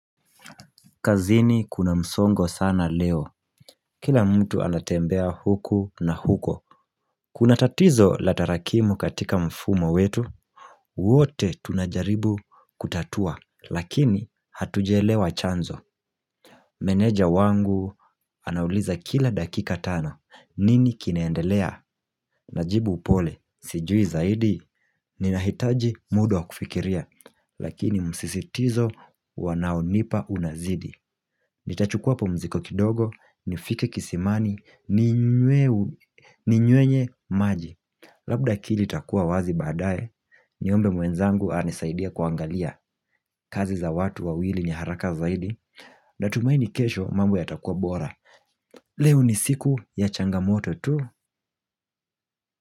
Kazini kuna msongo sana leo. Kila mtu anatembea huku na huko. Kuna tatizo la tarakimu katika mfumo wetu. Wote tunajaribu kutatua. Lakini hatujaelewa chanzo. Meneja wangu anauliza kila dakika tano. Nini kinaendelea? Najibu upole, sijui zaidi. Ninahitaji muda wa kufikiria. Lakini msisitizo wanaonipa unazidi. Nitachukua hapo mzigo kidogo, nifike kisimani, ninywe maji Labda akili itakuwa wazi baadae, niombe mwenzangu anisaidie kuangalia kazi za watu wawili ni haraka zaidi na tumaini kesho mambo yatakuwa bora Leo ni siku ya changamoto tu.